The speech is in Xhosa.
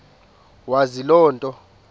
wazi loo nto